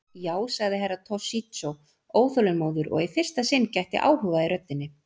Já, sagði Herra Toshizo óþolinmóður og í fyrsta sinn gætti áhuga í röddinni.